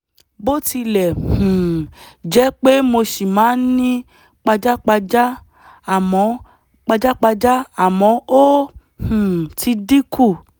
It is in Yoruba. bó tilẹ̀ um jẹ́ pé mo ṣì máa ń ní pajápajá àmọ́ pajápajá àmọ́ ó um ti dín kù